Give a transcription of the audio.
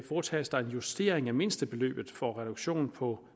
foretages der en justering af mindstebeløbet for reduktion på